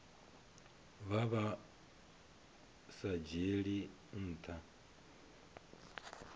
vha vhu sa dzhielwi nha